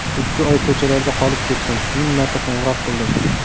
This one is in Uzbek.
Ikki oy ko‘chalarda qolib ketdim, ming marta qo‘ng‘iroq qildim.